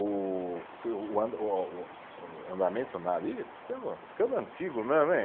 O andamento nada, ih, estou ficando ficando antigo mesmo, hein?